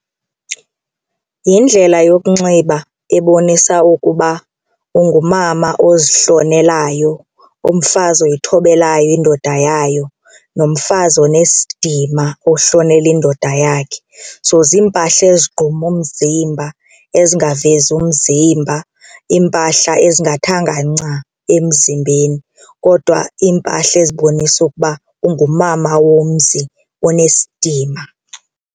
Yindlela yokunxiba ebonisa ukuba ungumama ozihlonelayo umfazi oyithobelayo indoda yayo nomfazi onesidima ohlonela indoda yakhe so ziimpahla ezigquma umzimba ezingavezi umzimba iimpahla ezingathanga nca emzimbeni kodwa iimpahla ezibonisa ukuba ungumama womzi onesidima.